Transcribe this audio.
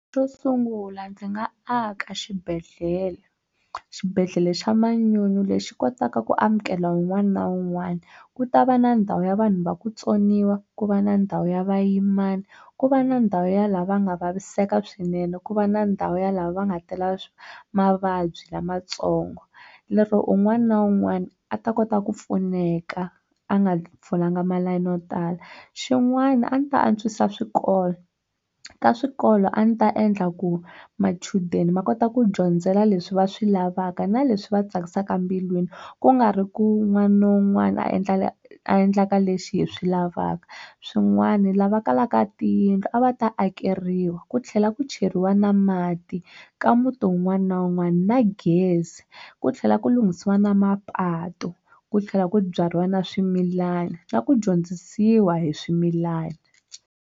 Xo sungula ndzi nga aka xibedhlele xibedhlele xa manyunyu lexi kotaka ku amukela un'wana na un'wana ku ta va na ndhawu ya vanhu va ku tsoniwa ku va na ndhawu ya vayimana ku va na ndhawu ya la va nga vaviseka swinene ku va na ndhawu ya lava va nga tela mavabyi lamatsongo lero un'wana na un'wana a ta kota ku pfuneka a nga folanga malayini no tala xin'wana a ndzi ta antswisa swikolo ka swikolo a ni ta endla ku machudeni ma kota ku dyondzela leswi va swi lavaka na leswi va tsakisaka mbilwini ku nga ri ku wun'wana na wun'wana a a endlaka leswi hi swi lavaka swin'wana lava kalaka tiyindlu a va ta akeriwa ku tlhela ku cheriwa na mati ka muti wun'wana na wun'wana na gezi ku tlhela ku lunghisiwa na mapatu ku tlhela ku byariwa na swimilana na ku dyondzisiwa hi swimilana.